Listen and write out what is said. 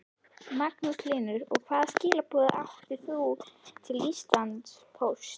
Magnús Hlynur: Og hvaða skilaboð átt þú til Íslandspóst?